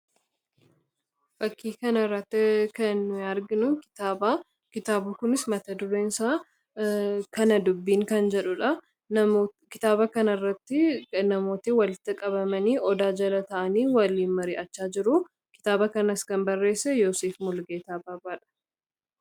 fakkii kanarratti kanargnu kitaabu kunis matadureensaa kana dubbiin kan jedhudha kitaaba kana irratti namooti walitta qabamanii odaa jala ta’anii waliin marii achaa jiruu kitaaba kanas kan barreesse yosief mulgeetaa baabaadha